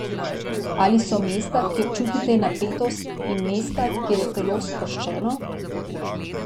Ali so mesta, kjer čutite napetost, in mesta, kjer je telo sproščeno?